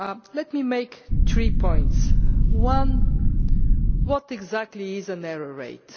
Let me make three points One what exactly is an error rate?